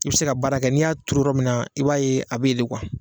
I bɛ se ka baara kɛ n'i y'a turu yɔrɔ min na, i b'a ye a bɛ yen kuwa!